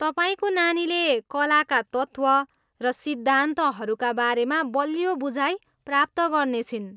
तपाईँको नानीले कलाका तत्त्व र सिद्धान्तहरूका बारेमा बलियो बुझाइ प्राप्त गर्नेछिन्।